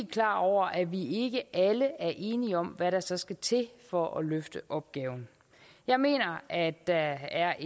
klar over at vi ikke alle er enige om hvad der så skal til for at løfte opgaven jeg mener at der er